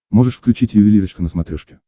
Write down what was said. можешь включить ювелирочка на смотрешке